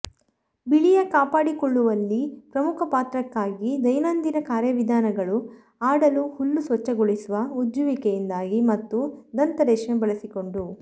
ಬಿಳಿಯ ಕಾಪಾಡಿಕೊಳ್ಳುವಲ್ಲಿ ಪ್ರಮುಖ ಪಾತ್ರಕ್ಕಾಗಿ ದೈನಂದಿನ ಕಾರ್ಯವಿಧಾನಗಳು ಆಡಲು ಹಲ್ಲು ಸ್ವಚ್ಛಗೊಳಿಸುವ ಉಜ್ಜುವಿಕೆಯಿಂದಾಗಿ ಮತ್ತು ದಂತ ರೇಷ್ಮೆ ಬಳಸಿಕೊಂಡು